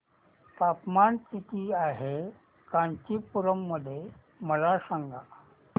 तापमान किती आहे कांचीपुरम मध्ये मला सांगा